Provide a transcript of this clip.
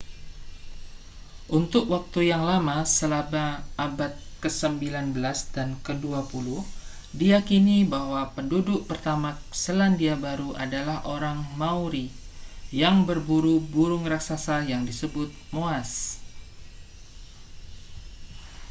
untuk waktu yang lama selama abad kesembilan belas dan kedua puluh diyakini bahwa penduduk pertama selandia baru adalah orang maori yang berburu burung raksasa yang disebut moas